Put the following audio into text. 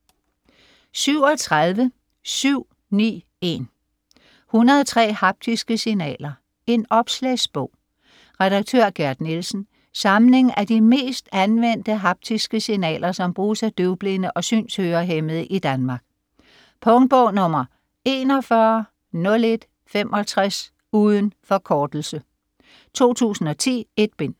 37.791 103 haptiske signaler: en opslagsbog Redaktør: Gerd Nielsen. Samling af de mest anvendte haptiske signaler, som bruges af døvblinde og synshørehæmmede i Danmark. Punktbog 410165. Uden forkortelse. 2010. 1 bind.